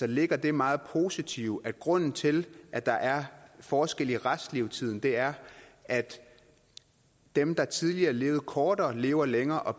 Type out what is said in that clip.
ligger det meget positive at grunden til at der er forskel i restlevetiden er at dem der tidligere levede kortere lever længere og